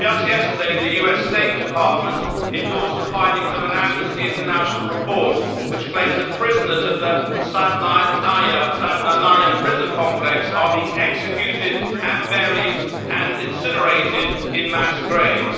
Just yesterday the US State Department endorsed the findings of an Amnesty International report which claims that prisoners at the Saydnaya prison complex are being executed and buried and incinerated in mass graves.